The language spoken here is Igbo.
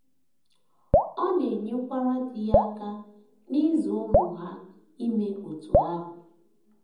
Ọ na - enyekwara di ya aka n’ịzụ ụmụ ha ime otú ahụ.